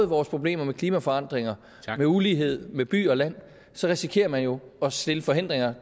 vores problemer med klimaforandringer med ulighed og med by og land så risikerer man jo at stille forhindringer